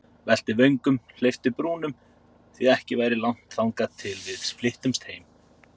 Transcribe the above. Velti vöngum, hleypti brúnum, því ekki væri langt þangað til við flyttumst heim.